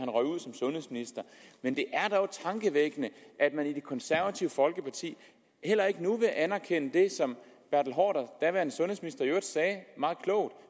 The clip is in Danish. røget ud som sundhedsminister men det er dog tankevækkende at man i det konservative folkeparti heller ikke nu vil anerkende det som daværende sundhedsminister i øvrigt sagde meget klogt